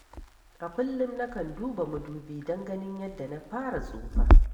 A kullum na kan duba madubi don ganin yadda na fara tsufa.